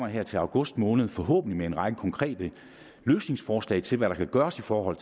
her til august måned forhåbentlig en række konkrete løsningsforslag til hvad der kan gøres for at